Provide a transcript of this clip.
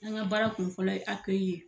An ka baara kun fɔlɔ ye ye.